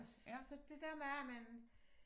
Og så det der bare man